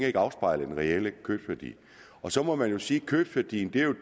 ikke afspejle den reelle købsværdi så må man jo sige at købsværdien